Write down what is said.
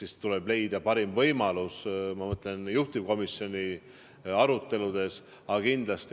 Eks tuleb leida parim võimalus, ma mõtlen, juhtivkomisjoni aruteludes.